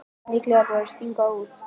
Líklega er verið að stinga út.